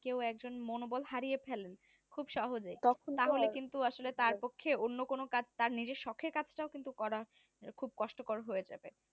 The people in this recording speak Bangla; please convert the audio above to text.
কেউ একজন মনোবল হারিয়ে ফেলেন খুব সহজেই তখন তাহলে তারপক্ষে অন্য কোনো কাজ তার নিজের সখের কাজটাও কিন্তু করা খুব কষ্টকর হয়ে যাবে